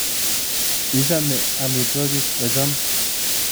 Ichome omitwokik ochon?